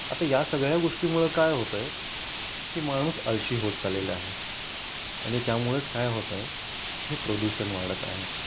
आता या सगळ्या गोष्टी मुळे काय होतंय की माणूस अळशी होत चालेला आहे आणि त्यामुळेच काय होत आहे हे की हे प्रदूषण वाढत आहे